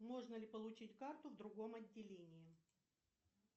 можно ли получить карту в другом отделении